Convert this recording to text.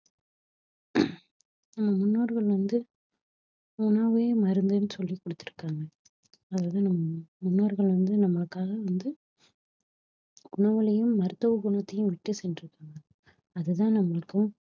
நம்ம முன்னோர்கள் வந்து உணவே மருந்துன்னு சொல்லிக் குடுத்திருக்காங்க அதுதான் நம் முன்னோர்கள் வந்து நம்மளுக்காக வந்து மருத்துவ குணத்தையும் விட்டு சென்றிருக்கிறாங்க அதுதான் நம்மளுக்கும்